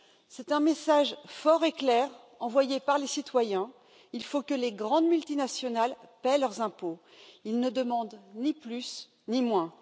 C'est un message fort et clair envoyé par les citoyens, il faut que les grandes multinationales paient leurs impôts, il ne demandent ni plus ni moins.